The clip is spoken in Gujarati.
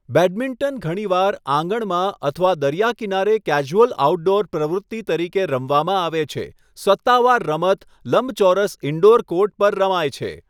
બેડમિન્ટન ઘણીવાર આંગણમાં અથવા દરિયાકિનારે કેઝ્યુઅલ આઉટડોર પ્રવૃત્તિ તરીકે રમવામાં આવે છે, સત્તાવાર રમત લંબચોરસ ઇન્ડોર કોર્ટ પર રમાય છે.